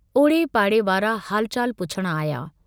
ओड़े पाड़े वारा हालु चालु पुछण आया।